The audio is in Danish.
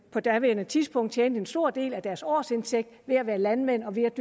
på daværende tidspunkt en stor del af deres årsindtægt ved at være landmænd og ved at